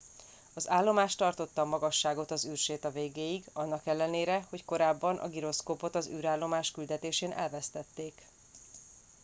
az állomás tartotta a magasságot az űrséta végéig annak ellenére hogy korábban a giroszkópot az űrállomás küldetésén elvesztették